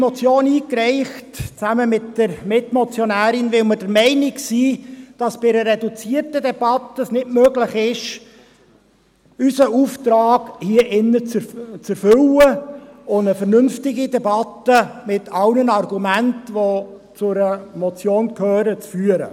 Wir haben diese Motion zusammen mit der Mitmotionärin eingereicht, weil wir der Meinung sind, dass es in einer reduzierten Debatte nicht möglich ist, unseren Auftrag hier drin zu erfüllen und eine vernünftige Debatte zu führen, mit allen Argumenten, die zu einer Motion gehören.